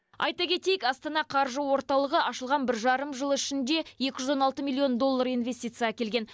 айта кетейік астана қаржы орталығы ашылған бір жарым жыл ішінде екі жүз он алты миллион доллар инвестиция әкелген